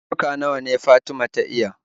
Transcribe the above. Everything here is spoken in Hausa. Yarurruka nawa Fatima ta iya?